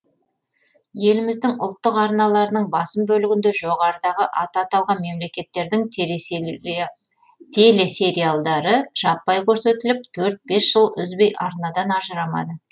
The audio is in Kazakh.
еліміздің ұлттық арналарының басым бөлігінде жоғарыдағы аты аталған мемлекеттердің телесериалдары жаппай көрсетіліп төрт бес жыл үзбей арнадан ажырамады